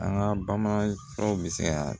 An ka bamanan tɔw bɛ se ka